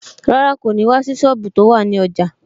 Rárá, kò ní wá sí sọ́ọ̀bù tó wà ní ọjà